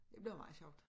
Det bliver meget sjovt